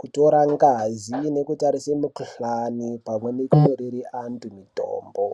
kutora ngazi nekutarise mikuhlani pamweni nekunyorere antu mitombo.